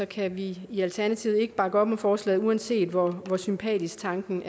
kan vi i alternativet ikke bakke op om forslaget uanset hvor sympatisk tanken